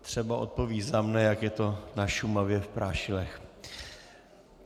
Třeba odpoví za mě, jak je to na Šumavě v Prášilech.